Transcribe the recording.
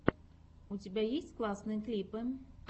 у тебя есть классные клипы